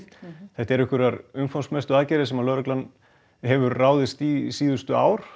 þetta eru einhverjar umfangsmestu aðgerðir sem danska lögreglan hefur ráðist í síðustu ár